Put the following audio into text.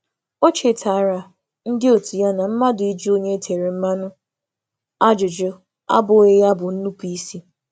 Ọ chetárà òtù òtù ha na ịjụ ajụjụ gbasara onye nwere ikike ime mmụọ abụghị otu ihe ka inarụ iwu.